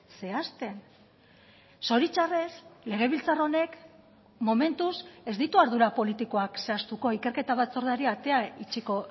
zehazten zoritxarrez legebiltzar honek momentuz ez ditu ardura politikoak zehaztuko ikerketa batzordeari atea itxiko